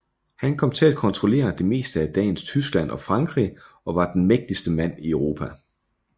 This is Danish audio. Han kom til at kontrollere det meste af dagens Tyskland og Frankrig og var den mægtigste mand i Europa